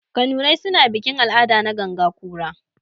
Kanurai suna bikin-al'ada na ganga kura.